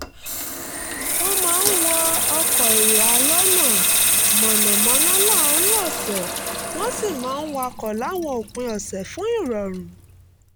wọ́n máa ń wọ ọkọ̀ èrò alonáa-mọ̀nàmọ́ná láàárín ọ̀sẹ̀ wọ́n sì máa ń wakọ̀ láwọn òpin ọ̀sẹ̀ fún ìrọ̀rùn